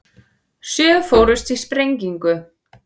Sjö fórust í sprengingu